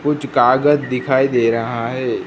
कुछ कागज दिखाई दे रहा है।